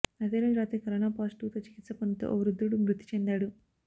అదే రోజు రాత్రి కరోనా పాజిటివ్తో చికిత్స పోందుతూ ఓ వృద్ధుడు మృతి చెందాడు